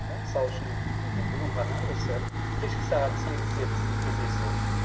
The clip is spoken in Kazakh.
мысал үшін мхм мен бүгін ғана осы кешкі сағат сегізде бізде кездесу